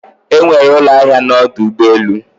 Enwere ụlọ ahịa na ọdụ ụgbọ elu